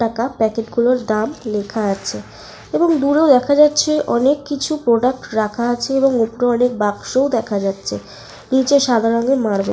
টাকা প্যাকেট গুলোর দাম লেখা আছে এবং দূরে দেখা যাচ্ছে অনেক কিছু প্রডাক্ট রাখা আছে এবং উপরে অনকে বাক্সও দেখা যাচ্ছে। নিচে সাদা রঙের মার্বেল ।